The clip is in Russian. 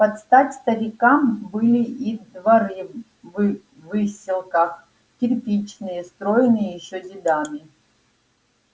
под стать старикам были и дворы в выселках кирпичные строенные ещё дедами